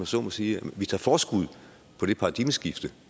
så må sige at vi tager forskud på det paradigmeskifte